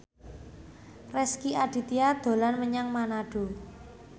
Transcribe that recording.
Rezky Aditya dolan menyang Manado